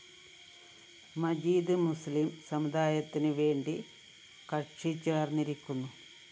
മജീദ്‌ മുസ്ലിം സമുദായത്തിനുവേണ്ടി കക്ഷി ചേര്‍ന്നിരിക്കുന്നു